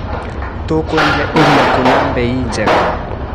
Tũkwendia iria kũ na mbei njega.